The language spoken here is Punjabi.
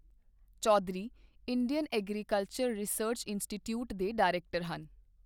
Chaudhary, Indian agricultural research institute ਦੇ ਡਾਇਰੈਕਟਰ ਹਨ।